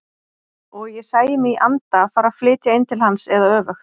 Og ég sæi mig í anda fara að flytja inn til hans eða öfugt.